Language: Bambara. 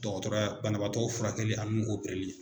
Dɔgɔtɔrɔya banabaatɔw furakɛli ani u opereli.